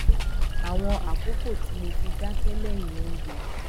àwọn àkókò tí mo fi dáké léyìn oúnjẹ